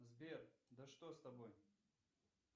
сбер да что с тобой